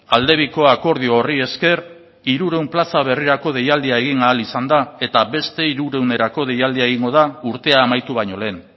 aldebiko akordio horri esker hirurehun plaza berrirako deialdia egin ahal izan da eta beste hirurehunerako deialdia egingo da urtea amaitu baino lehen